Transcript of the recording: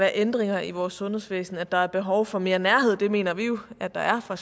ændringer i vores sundhedsvæsen der er behov for mere nærhed det mener vi jo at der er fra